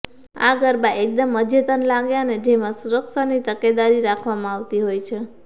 આ ગરબા એકદમ અદ્યતન લાગે અને જેમાં સુરક્ષાની તકેદારી રાખવામાં આવતી હોય છે